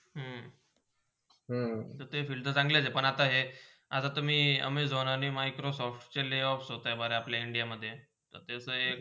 हम्म ते field चंगले आहे पण आता ते मी Amazon आणि Microsoft चे layoff होते भरा आपला india मधे तर तेच